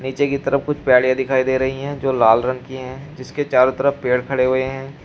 नीचे की तरफ कुछ दिखाई दे रही है जो लाल रंग की है जिसके चारों तरफ पेड़ खड़े हुए हैं।